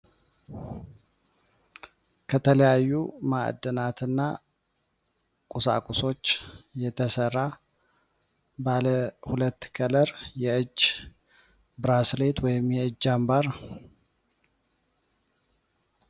ከተለያዩ ማዕድናትና ቁሳቁሶች የተሰራ ባለ ሁለት ቀለር የእጅ ብራስሌት ወ የእጃንባር